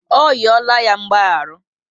Ọ riola ya mgbaharu